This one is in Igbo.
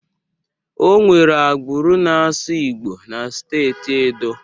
Onwere agbụrụ na-asụ Igbo na steeti Edo